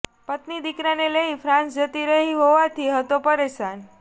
પત્ની દિકરાને લઈને ફ્રાન્સ જતી રહી હોવાથી હતો પરેશાન